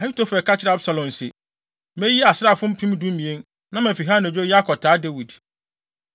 Ahitofel ka kyerɛɛ Absalom se, “Meyi asraafo mpem dumien, na mafi ha anadwo yi akɔtaa Dawid.